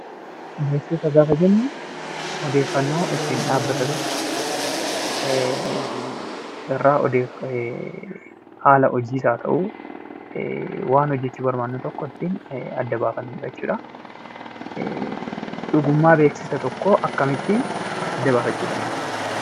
Beeksisa gaafa jennu odeeffannoo ittiin dhaabbata tokko irraa haal hojiis haa ta'uu waan hojjechuu barbaadne tokko irraa ittiin adda baafannu jechuu dha. Dhugummaa beeksisa tokkoo akkamittii adda baafachuu dandeenya?